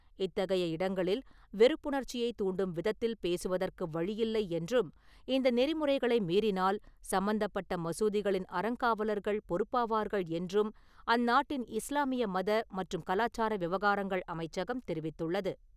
இத்தகைய இடங்களில் வெறுப்புணர்ச்சியை தூண்டும் விதத்தில் பேசுவதற்கு வழியில்லை என்றும், இந்த நெறிமுறைகளை மீறினால் சம்பந்தப்பட்ட மசூதிகளின் அறங்காவலர்கள் பொறுப்பாவார்கள் என்றும் அந்நாட்டின் இஸ்லாமிய மத மற்றும் கலாச்சார விவகாரங்கள் அமைச்சகம் தெரிவித்துள்ளது.